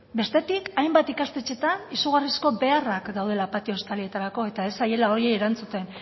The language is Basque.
bestetik hainbat ikastetxeetan izugarrizko beharrak daudela patio estalietarako eta ez zaiela horiei erantzuten